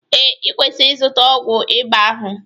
Ee, ị kwesịrị ịzụta ọgwụ ịba ahụ